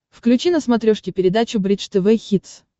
включи на смотрешке передачу бридж тв хитс